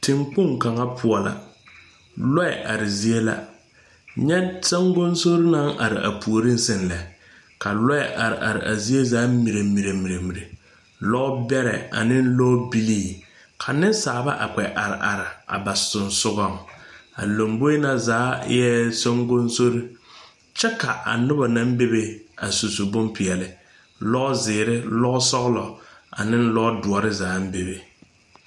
Tenkpoŋ kaŋa poɔ la, lɔɛ are zie la, kyɛ saŋkoŋsori naŋ are a puori seŋ lɛ, ka lɔɛ are are a zie zaa mirɛmirɛ, lɔɛ bɛrɛ ane lɔɛ bilii ka nensaalba kpɛ are are a ba soŋsoŋɛŋ,a loboe na zaa ee saŋkoŋsori kyɛ ka a noba naŋ bebe susu boŋ peɛle, lɔzeɛre, lɔsogloo ane lɔduore zaa bebe